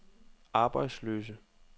arbejdsløse